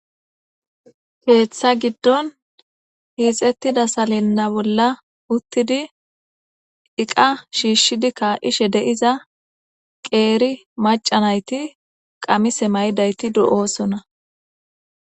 keeththa giddon hiixettida salenna bolla uttidi iqa shiishshidi kaa7ishe deiza qeeri macanayti qamise maydayti de'oosona